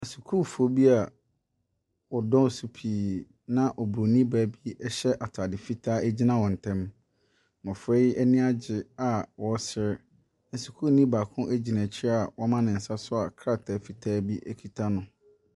Sukuufoɔ bi a wɔ dɔɔso pii na obroni baa bi ɛhyɛ ataade fitaa gyina wɔn ntɛm. Mmɔfra yi ani agye a wɔresere. Sukuuni baako gyina akyiri a wɔama ne nsa so a krataa fitaa bi ekuta no.